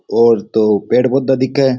और दो पेड़ पौधा दिखे।